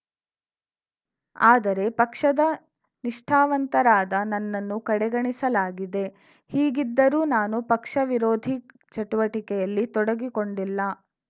ಆದರೆ ಪಕ್ಷದ ನಿಷ್ಠಾವಂತರಾದ ನನ್ನನ್ನು ಕಡೆಗಣಿಸಲಾಗಿದೆ ಹೀಗಿದ್ದರೂ ನಾನು ಪಕ್ಷ ವಿರೋಧಿ ಚಟುವಟಿಕೆಯಲ್ಲಿ ತೊಡಗಿಕೊಂಡಿಲ್ಲ